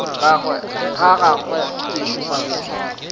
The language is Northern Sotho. ga gagwe ke šupa boitshwaro